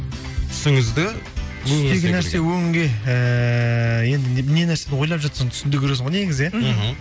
түсіңізді түстегі нәрсе өңге ііі енді не нәрсені ойлап жатсаң түсіңде көресің ғой негізі иә мхм